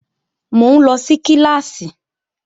Mò ń lọ sí kíláàsì